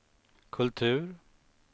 kultur